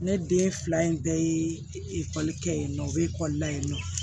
Ne den fila in bɛɛ ye ekɔli kɛ yen nɔ o bɛ ekɔli la yen nɔ